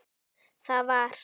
Þar var